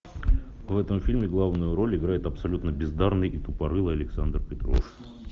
в этом фильме главную роль играет абсолютно бездарный и тупорылый александр петров